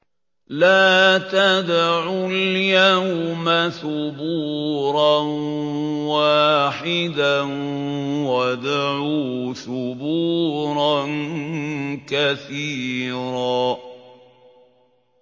لَّا تَدْعُوا الْيَوْمَ ثُبُورًا وَاحِدًا وَادْعُوا ثُبُورًا كَثِيرًا